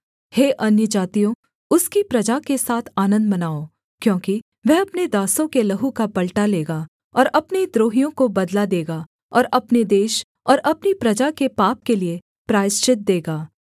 हे अन्यजातियों उसकी प्रजा के साथ आनन्द मनाओ क्योंकि वह अपने दासों के लहू का पलटा लेगा और अपने द्रोहियों को बदला देगा और अपने देश और अपनी प्रजा के पाप के लिये प्रायश्चित देगा